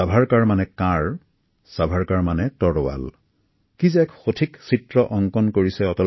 ছাভাৰকাৰক লৈ অটল বিহাৰী দেৱৰ কি সুন্দৰ উপমা